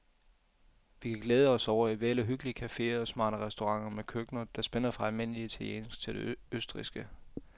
Vi kan glæde os over et væld af hyggelige caféer og smarte restauranter med køkkener, der spænder fra almindelig italiensk til det østrigske.